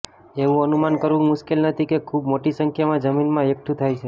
એવું અનુમાન કરવું મુશ્કેલ નથી કે ખૂબ મોટી સંખ્યામાં જમીનમાં એકઠું થાય છે